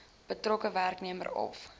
betrokke werknemer of